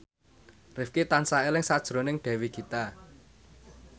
Rifqi tansah eling sakjroning Dewi Gita